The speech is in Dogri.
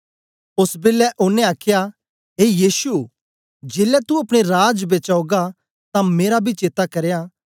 ओस बेलै ओनें आखया ए यीशु जेलै तू अपने राज बेच औगा तां मेरा बी चेत्ता करयां